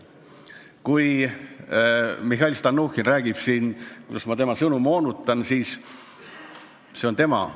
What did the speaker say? Kui Mihhail Stalnuhhin räägib siin, kuidas ma tema sõnu moonutan, siis see on tema õigus.